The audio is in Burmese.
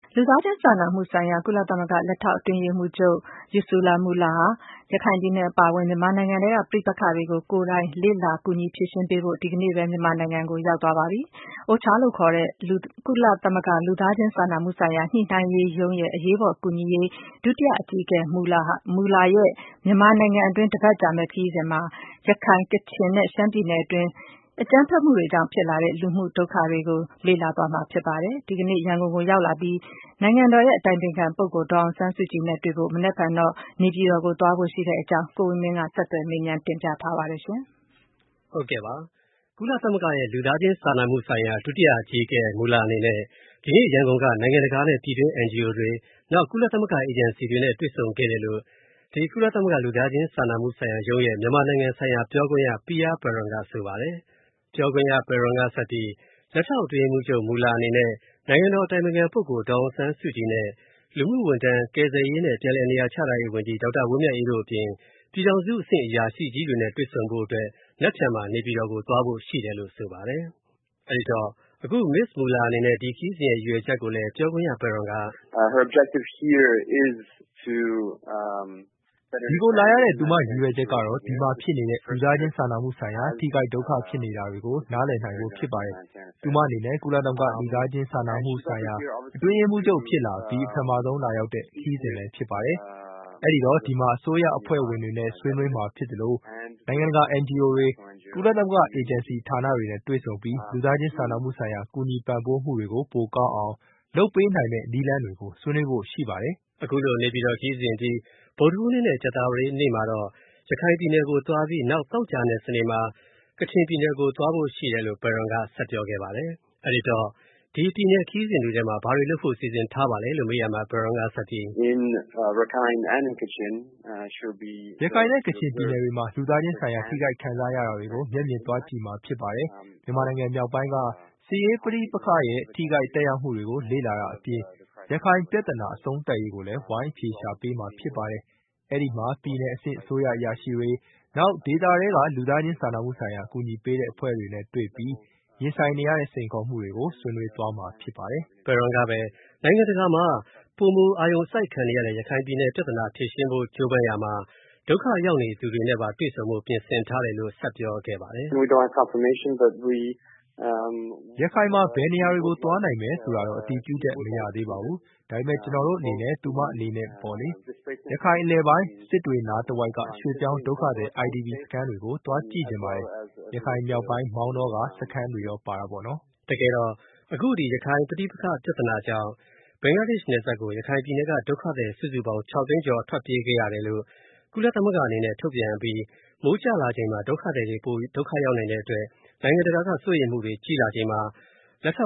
လူသားချင်းစာနာမှုဆိုင်ရာ ကုလသမဂ္ဂ လက်ထောက်အတွင်းရေးမှူးချုပ် Ursula Mueller ဟာ ရခိုင်ပြည်နယ်အပါအဝင် မြန်မာနိုင်ငံထဲက ပဋိပက္ခတွေကို ကိုယ်တိုင် လေ့လာပြီး၊ ဝိုင်းကူဖြေရှင်းပေးဖို့ မြန်မာနိုင်ငံကို ဒီနေ့ ရောက်ရှိသွားပါပြီ။ OCHA လို့အတိုခေါက်ခေါ်တဲ့ ကုလသမဂ္ဂ လူသားချင်းစာနာမှုဆိုင်ရာညှိုနှိုင်းရေးမူးရုံးရဲ့ အရေးပေါ်ကူညှီနှိုင်းရေး ဒုတိယအကြီးအကဲ Mueller အနေနဲ့ တပတ်ကြာ မြန်မာနိုင်ငံ ခရီးစဉ်အတွင်း ရခိုင်၊ ကချင်နဲ့ ရှမ်းပြည်နယ်တွင်း အကြမ်းဖက်မှုတွေကြောင့်ဖြစ်လာတဲ့ လူမှုဒုက္ခတွေကို သွားကြည့်မှာဖြစ်ပါတယ်။ ဒီနေ့မနက် ရန်ကုန်ရောက်လာပြီး၊ နိုင်ငံတော် အတိုင်ပင်ခံပုဂ္ဂိုလ် ဒေါ်အောင်ဆန်းစုကြည်နဲ့တွေ့ဖို့ နက်ဖြန် နေပြည်တော် သွားဖို့ရှိတဲ့ သူမရဲ့ ခရီးစဉ်အကြောင်း ကိုဝင်းမင်းက ဆက်သွယ်မေးမြန်းထားပါတယ်။ ကုလသမဂ္ဂ လူသားချင်းစာနာမှုဆိုင်ရာ ဒုအကြီးအကဲ Ursula Mueller အနေနဲ့ ဒီနေ့ နိုင်ငံတကာနဲ့ ပြည်တွင်း NGO တွေ နောက် ကုလသမဂ္ဂ အဖွဲ့အစည်းတွေနဲ့ တွေ့ဆုံခဲ့တယ်လို့ ကုလသမဂ္ဂ လူသားချင်းစာနာမှုဆိုင်ရာရုံးရဲ့ မြန်မာနိုင်ငံဆိုင်ရာပြောခွင့်ရ Pierre Peron ကဆိုပါတယ်။ ပြောခွင့်ရ Pierre Peron ကဆက်ပြီး လက်ထောက်အတွင်းရေးမှူးချုပ် Mueller အနေနဲ့ နိုင်ငံတော် အတိုင်ပင်ခံပုဂ္ဂုလ် ဒေါ်အောင်ဆန်းစုကြည်နဲ့ လူမှုကယ်ဆယ်ရေးနဲ့ ပြန်လည် နေရာချထားရေး ပြည်ထောင်စုဝန်ကြီး ဒေါက်တာ ဝင်းမြတ်အေးတို့အပြင် ပြည်ထောင်စုအဆင့်အရာရှိကြီးတွေနဲ့ တွေ့ဆုံဖို့ မနက်ဖြန်မှာ နေပြည်တော်သွားဖို့ ရှိတယ်လို့ ဆိုပါတယ်။ မစ္စ Mueller အနေနဲ့ ဒီခရီးစဉ်ရဲ့ ရည်ရွယ်ချက်ကိုလည်း ပြောခွင့်ရ Peron က “ဒီကိုလာရတဲ့ သူမ ရည်ရွယ်ချက်ကတော့ ဒီမှာဖြစ်နေတဲ့ လူသားချင်းစာနာမှုဆိုင်ရာ ထိခိုက်ဒုက္ခဖြစ်နေတာတွေကို နားလည်နိုင်ဖို့ ဖြစ်ပါတယ်။ သူမအနေနဲ့ ကုလသမဂ္ဂ လူသားချင်းစာနာမှုဆိုင်ရာ အတွင်းရေးမှုးချုပ်ဖြစ်လာအပြီး ပထမဆုံးလာရောက်တဲ့ ခရီးစဉ်လဲဖြစ်တယ်လေ။ အဲ့ဒီတော့ ဒီမှာ အစိုးရအဖွဲ့ဝင်တွေနဲ့ ဆွေးနွေးမှာဖြစ်သလို နိုင်ငံတကာ NGO တွေ၊ ကုလသမဂ္ဂ အေဂျင်စီဌာနတွေနဲ့ တွေ့ဆုံပြီး လူသားချင်းစာနာမှုဆိုင်ရာ ကူညီပံ့ပိုးမှုတွေကို ပိုကောင်းအောင် လုပ်ပေးနိုင်မယ့် နည်းလမ်းတွေကို ဆွေးနွေးဖို့ရှိပါတယ်။” အခုလိုနေပြည်တော်ခရီးစဉ်အပြီး ဗုဒ္ဓဟူနေ့နဲ့ ကြာသပတေးနေ့မှာတော့ ရခိုင်ပြည်နယ်၊နောက်သောကြာနဲ့ စနေမှာ ကချင်ပြည်နယ်ကို သွားဖို့ရှိတယ်လို့ Peron က ဆက်ပြောခဲ့ပါတယ်။ ဒီခရီးစဉ်တွေမှာ ဘာတွေလုပ်ဖို့စီစဉ်ထားပါသလဲလို့ မေးရာမှာ Peron ကပြီး။ “ရခိုင်နဲ့ ကချင်ပြည်နယ်တွေမှာ လူသားချင်းဆိုင်ရာ ထိခိုက်ခံစားနေရတာတွေကို မျက်မြင်သွားကြည့်မှာဖြစ်ပါတယ်။ မြန်မာနိုင်ငံမြောက်ပိုင်းက စစ်ရေးပဋိပက္ခတွေရဲ့ ထိခိုက်သက်ရောက်မူတွေကို လေ့လာတာအပြင်၊ ရခိုင်ပြဿနာ အဆုံးသတ်ရေးကိုလဲ ဝိုင်းအဖြေရှာပေးမှာ ဖြစ်ပါတယ်။ အဲ့ဒီမှာ ပြည်နယ်အဆင့် အစိုးရ အရာရှိတွေ၊ နောက် ဒေသထဲက လူသားချင်းစာနာမှုဆိုင်ရာ အကူအညီပေးတဲ့အဖွဲ့တွေနဲ့ တွေ့ပြီး ရင်ဆိုင်နေရတဲ့ စိန်ခေါ်မှုတွေကို ဆွေးနွေးသွားမှာဖြစ်ပါတယ်။” Peron က နိုင်ငံတကာမှာ ပိုမိုအာရုံစိုက်ခံနေရတဲ့ ရခိုင်ပြဿနာဖြေရှင်းဖို့ ကြိုးပမ်းရာမှာ ဒုက္ခရောက်နေသူတွေနဲ့ပါတွေ့ဆုံဖို့ ပြင်ဆင်ထားတယ်လို့ ဆက်ပြောခဲ့ပါတယ်။ “ရခိုင်မှာ ဘယ်နေရာတွေကို သွားနိုင်မယ်ဆိုတာတော့ အတည်ပြုချက် မရသေးပါဘူး။ ဒါပေမဲ့ ကျွန်တော်တို့အနေနဲ့ သူမအနေနဲပေါ့လေ ရခိုင်အလယ်ပိုင်း စစ်တွေနားတဝိုက်က ရွေ.ပြောင်းဒုက္ခသည် IDP စခန်းတွေကို သွားကြည့်ချင်ပါတယ်။ ရခိုင်မြောက်ပိုင်း မောင်တောက စခန်းတွေရောပေါ့နော်။” တကယ်တော့ အခုဒီ ရခိုင်ပြဿနာကြောင့် ဘင်္ဂလားနယ်စပ်ကို ရခိုင်ပြည်နယ်က ဒုက္ခသည်စုစုပေါင်း ၆ သိန်းကျော်ထွက်ပြေးခဲ့ရတယ်လို့ ကုလအနေနဲ့ ထုတ်ပြန်အပြီး မိုးရာသီကျရောက်လာချိန် ဒုက္ခသည်တွေပိုမိုဒုက္ခရောက်နိုင်တဲ့အတွက် နိုင်ငံတကာက စိုးရိမ်လာချိန်မှာ လက်ထော